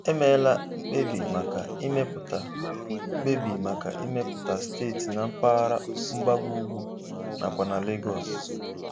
Emeela mkpebi maka ịmepụta mkpebi maka ịmepụta steeti na mgbaghara mgbago ugwu nakwa na Lagos.